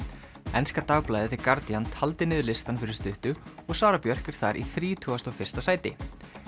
enska dagblaðið Guardian taldi niður listann fyrir stuttu og Sara Björk er þar í þrítugasta og fyrsta sæti